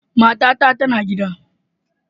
Matata tana gida.